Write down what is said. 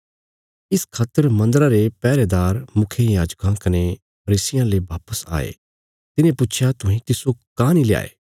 इस खातर मन्दरा रे पैहरेदार मुखियायाजकां कने फरीसियां ले बापस आये तिन्हें पुच्छया तुहें तिस्सो काँह नीं ल्याये